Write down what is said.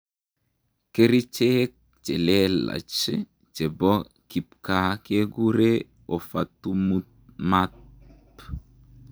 Kericheek chelelaach chepoo kipkaa kekure Ofatumumab